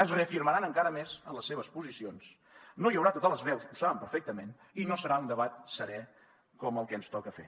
es reafirmaran encara més en les seves posicions no hi haurà totes les veus ho saben perfectament i no serà un debat serè com el que ens toca fer